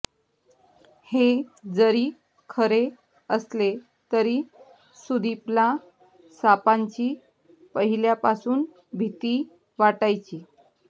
हे जरी खरे असले तरी सुदीपला सापांची पहिल्यापासून भीती वाटायची